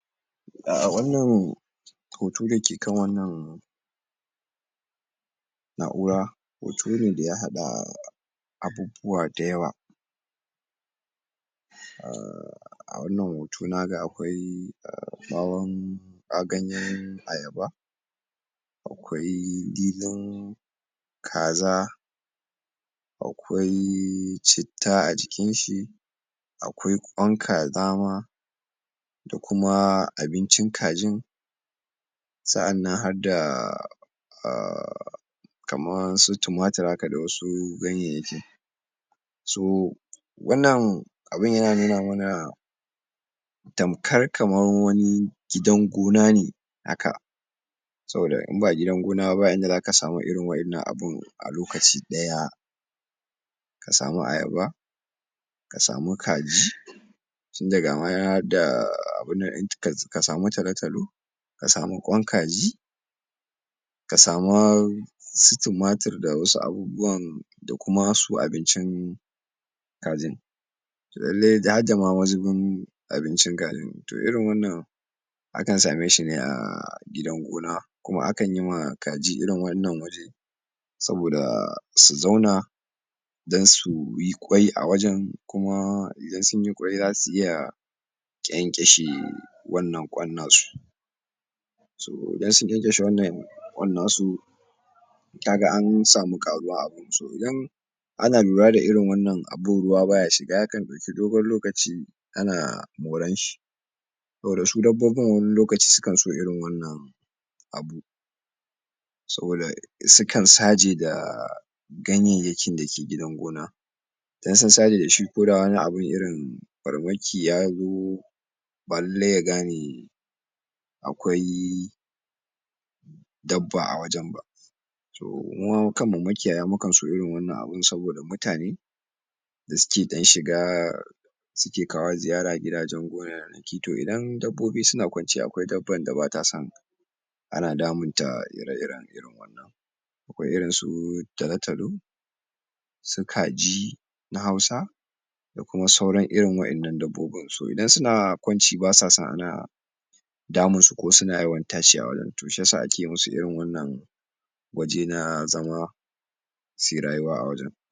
a wannan hoto da ke kan wannan na'ura hoto ne daya haɗa abubuwa da yawa um a wannan hoto naga akwai ɓawon ganyen ayaba akwai dilin kaza akwai citta a jikin shi akwai ƙwan kaza ma da kuma abincin kajin sa'annan hadda um kamar su tumatur haka da wasu ganyayyaki so wannan abun yana nuna mana tamkar kamar wani gida gona ne haka saboda in ba gidan gona ba ba inda zaka samu irin wa'ennan abun a lokaci daya ka samu ayaba ka samu kaji tinda gama harda abun nan ka samu talotalo ka samu ƙwan kaji ka sama su tumatur da wasu abubwan da kuma su abincin kajin lallai harda ma mazubin abincin kajin to irin wannan akan same shi ne a gidan gona kuma akan yima kaji irin wannan waje saboda su zauna don suyi ƙyai a wajan kuma idan sunyi ƙyai zasu iya ƙyanƙyashi wannan ƙwan nasu so idan sun ƙyanƙyashi wannan ƙwan nasu kaga an samu ƙaruwa a gun so idan ana lura da irin wannan abubuwa baya shiga yakan ɗauki dogon lokaci ana moran shi saboda su dabbobin wani lokaci sukan so irin wannan abu saboda sukan saje da ganyayyakin dake gidan gona idan sun saje dashi koda wani abu ne irin farmaki ya zo ba lallai ya gane akwai dabba a wajen ba to muma kanmu makiyaya mukan so irin wannan abu saboda mutane da suke ɗan shiga suke kawo ziyara gidajen gonanaki to idan dabbobi suna ƙwanci akwai dabban da bata son ana damunta ire iren irin wannan akwai irin su talotalo su kaji na hausa da kuma saura irin waƴannan dabbobin so idan suna ƙwanci basa so ana damun su ko suna yawan tashi a gurun to shi tasa ake musu irin wannan waje na zama suyi rayuwa a wajen.